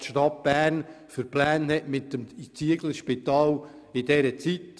Wer kennt schon die Pläne der Stadt Bern für das Zieglerspital zu diesem Zeitpunkt?